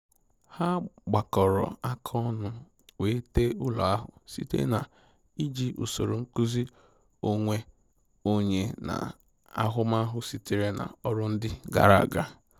Ha gbakọrọ aka ọnụ wee tee ụlọ ahụ site na iji usoro nkụzi onwe onye na ahụmahụ sitere na ọrụ ndi gara aga